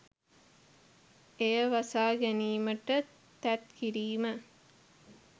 එය වසා ගැනීමට තැත් කිරීම